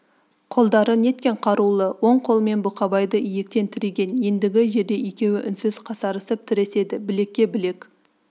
қолдары неткен қарулы оң қолымен бұқабайды иектен тіреген ендігі жерде екеуі үнсіз қасарысып тіреседі білекке білек